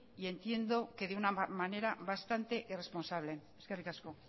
y entiendo que de una manera bastante irresponsable eskerrik asko